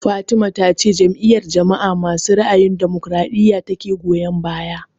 Fatima ta ce Jam'iyar jama'a masu ra'ayin damokaraɗiya ta ke goyan baya